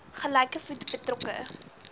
gelyke voet betrokke